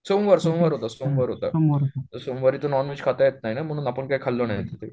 सोमवार सोमवार होता, सोमवार होता तर सोमवारी तर नॉनव्हेज खाता येत नाही ना म्हणून आपण काय खाल्लं नाही तिथे